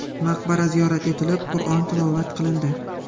Maqbara ziyorat etilib, Qur’on tilovat qilindi.